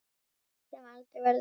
Skarð sem aldrei verður fyllt.